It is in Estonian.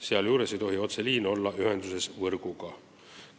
Sealjuures ei tohi otseliin olla ühenduses võrguga.